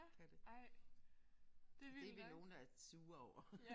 Kan det. Det vi nogle der sure over